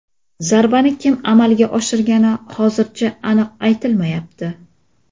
Zarbani kim amalga oshirgani hozircha aniq aytilmayapti.